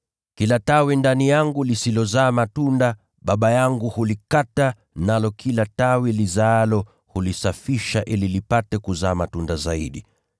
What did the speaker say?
Kila tawi ndani yangu lisilozaa matunda, Baba yangu hulikata, nalo kila tawi lizaalo, hulisafisha ili lipate kuzaa matunda zaidi.